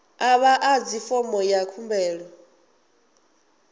a vha ḓadzi fomo ya khumbelo